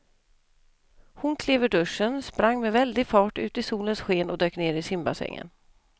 Hon klev ur duschen, sprang med väldig fart ut i solens sken och dök ner i simbassängen.